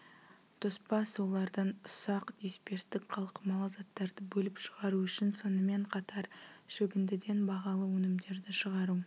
тоспа сулардан ұсақ дисперстік қалқымалы заттарды бөліп шығару үшін сонымен қатар шөгіндіден бағалы өнімдерді шығару